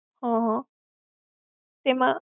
હમ્મ હમ્મ. એમાં.